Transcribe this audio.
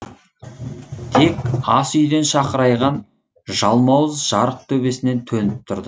тек ас үйден шақырайған жалмауыз жарық төбесінен төніп тұрды